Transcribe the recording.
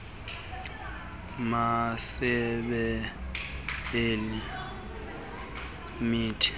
masebe ale mithi